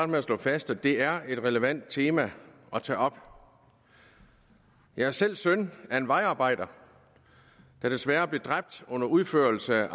med at slå fast at det er et relevant tema at tage op jeg er selv søn af en vejarbejder der desværre blev dræbt under udførelsen af